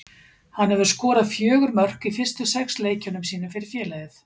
Hann hefur skorað fjögur mörk í fyrstu sex leikjunum sínum fyrir félagið.